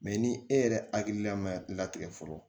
Mɛ ni e yɛrɛ hakilila ma latigɛ fɔlɔ